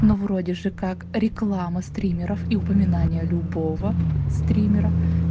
вроде же как реклама стримеров и упоминания любого стримера